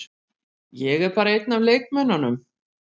Ég er bara einn af leikmönnunum.